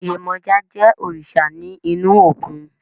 Yemọja je òrìṣà ní inú òkun